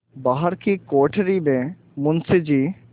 बाहर की कोठरी में मुंशी जी